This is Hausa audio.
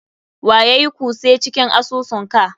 Wa yayui cuse cikin asusun ka?